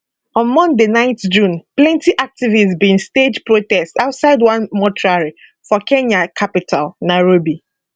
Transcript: on monday 9 june plenty activists bin stage protest outside one mortuary for kenya capital nairobi